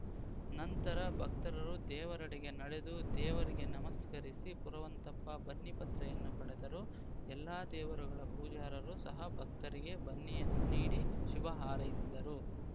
ನಂತರ ಭಕ್ತರರು ದೇವರೆಡೆ ನಡೆದು ದೇವರಿಗೆ ನಮಸ್ಕರಿಸಿ ಪುರುವಂತಪ್ಪ ಬನ್ನಿ ಪತ್ರೆಯನ್ನು ಪಡೆದರು ಎಲ್ಲಾ ದೇವರುಗಳ ಪೂಜಾರರು ಸಹ ಭಕ್ತರಿಗೆ ಬನ್ನಿಯನ್ನು ನೀಡಿ ಶುಭ ಹಾರೈಸಿದರು